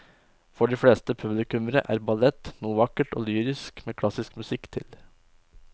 For de fleste publikummere er ballett noe vakkert og lyrisk med klassisk musikk til.